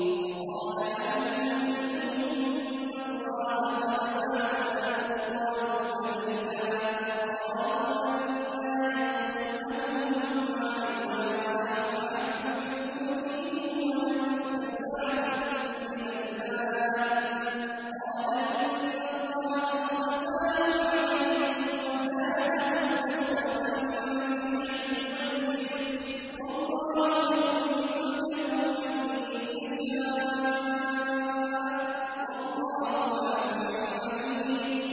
وَقَالَ لَهُمْ نَبِيُّهُمْ إِنَّ اللَّهَ قَدْ بَعَثَ لَكُمْ طَالُوتَ مَلِكًا ۚ قَالُوا أَنَّىٰ يَكُونُ لَهُ الْمُلْكُ عَلَيْنَا وَنَحْنُ أَحَقُّ بِالْمُلْكِ مِنْهُ وَلَمْ يُؤْتَ سَعَةً مِّنَ الْمَالِ ۚ قَالَ إِنَّ اللَّهَ اصْطَفَاهُ عَلَيْكُمْ وَزَادَهُ بَسْطَةً فِي الْعِلْمِ وَالْجِسْمِ ۖ وَاللَّهُ يُؤْتِي مُلْكَهُ مَن يَشَاءُ ۚ وَاللَّهُ وَاسِعٌ عَلِيمٌ